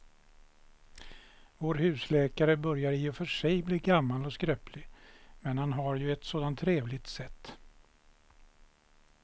Vår husläkare börjar i och för sig bli gammal och skröplig, men han har ju ett sådant trevligt sätt!